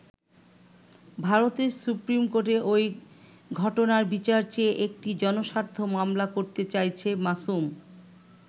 ভারতের সুপ্রিম কোর্টে ওই ঘটনার বিচার চেয়ে একটি জনস্বার্থ মামলা করতে চাইছে মাসুম।